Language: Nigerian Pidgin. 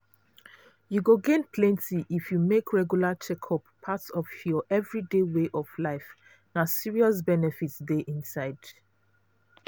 you go gain plenty if you make regular checkup part of your everyday way of life. na serious benefit dey inside.